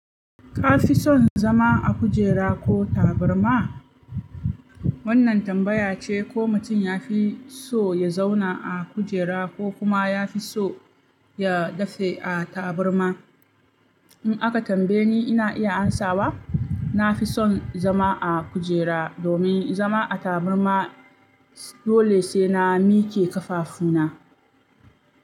Ka fi son zama a kujera ko tabarma? Wannan tambaya ce ko mutum ya fi so ya zauna a kujera ko kuma ya fi so ya dafe a tabarma. In aka tambaye ni, ina iya amsawa. Na fi son zama a kujera domin zama a tabarma dole sai na mike kafafuna.